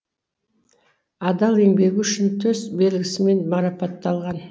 адал еңбегі үшін төс белгісімен марапатталған